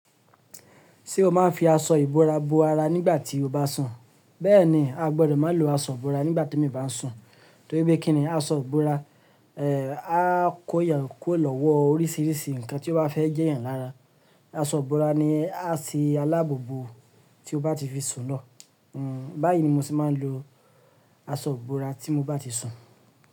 Ṣé o máa ń fi aṣọ ìbora bo ara nígbà tí o bá sùn? Bẹ́ẹ̀ni, a gbọdọ̀ má lo aṣọ ìbora nígbà tí èmi bá ń sùn, torí pé kíni aṣọ ìbora, ẹ́, á kó yàn kún lọ́wọ́ oríṣiríṣi nǹkan tí ó bá fẹ́ jẹ́ yan lára. Aṣọ ìbora ni á se alábobo tí o bá ti fi sùn lọ. Hmm, báyìí ni mo se máa ń lo aṣọ ìbora tí mo bá ti sùn.